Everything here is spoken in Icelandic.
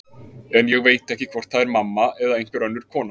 En ég veit ekki hvort það er mamma eða einhver önnur kona.